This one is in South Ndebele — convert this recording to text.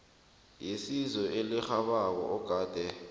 yesizo elirhabako ogade